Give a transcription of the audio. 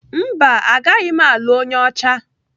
Mba, agaghị m alụ onye ọcha.